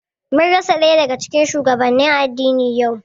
Mun rasa ɗaya daga cikin shugabannin addini yau